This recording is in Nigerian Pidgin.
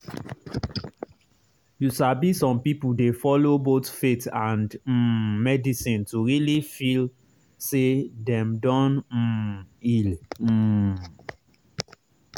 true true e dey help when staff explain treatment with simple and respectful way um wey person go understand.